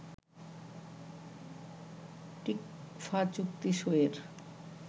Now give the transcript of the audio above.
TICFA চুক্তি সইয়ের